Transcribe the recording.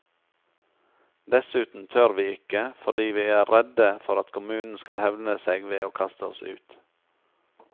Dessuten tør vi ikke, fordi vi er redde for at kommunen skal hevne seg ved å kaste oss ut.